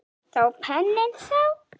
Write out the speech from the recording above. Þá pening sá.